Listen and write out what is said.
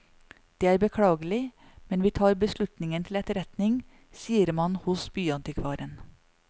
Det er beklagelig, men vi tar beslutningen til etterretning, sier man hos byantikvaren.